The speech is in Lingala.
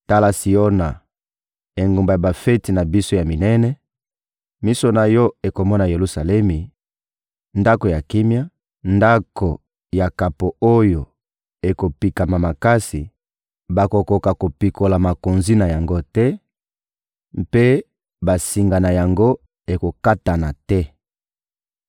Tala Siona, engumba ya bafeti na biso ya minene, miso na yo ekomona Yelusalemi, ndako ya kimia, ndako ya kapo oyo ekopikama makasi; bakokoka kopikola makonzi na yango te, mpe basinga na yango ekokatana te.